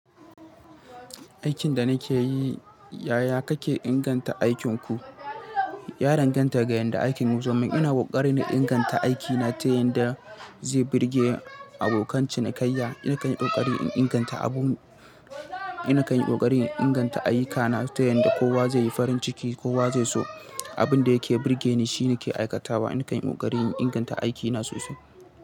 Aikin da nake yi, yaya kake inganta aikinku? Ya danganta ga yadda aikin ya zomin. Ina kokari na inganta aikina ta yanda zai birge abokan cinikayya. Ina kan yi kokari in inganta abu, ina kan yi kokari in inganta ayyukana ta yadda kowa zai yi farin ciki, kowa zai so. Abin da yake birge ni shine nake aikatawa. Na kan yi kokari in inganta aikina sosai.